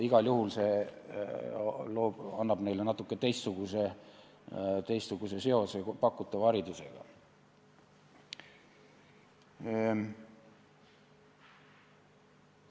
Igal juhul loob see neile natuke teistsuguse seose pakutava haridusega.